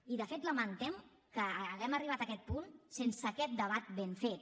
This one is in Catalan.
i de fet lamentem que haguem arribat a aquest punt sense aquest debat ben fet